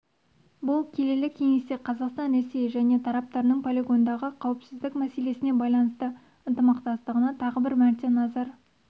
бұл келелі кеңесте қазақстан ресей және тараптарының полигондағы қауіпсіздік мәселесіне байланысты ынтымақтастығына тағы бір мәрте назар